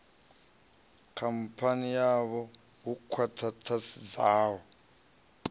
khamphani yavho lu khwa ṱhisedzaho